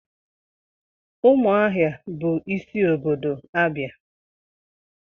Umuahia bu isi obodo Abia.